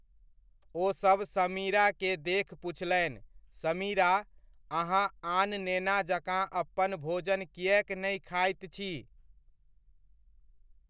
ओ सब समीरा के देख पुछलनि, समीरा, अहाँ आन नेना जकाँ अपन भोजन किएक नहि खाइत छी?